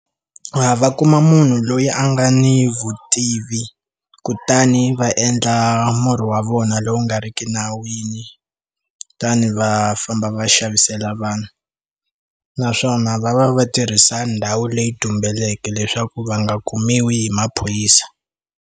Va va kuma munhu loyi a nga ni vutivi kutani va endla murhi wa vona lowu nga ri ki nawini ta ni va famba va xavisela vanhu naswona va va va tirhisa ndhawu leyi tumbeleke leswaku va nga kumiwi hi maphorisa.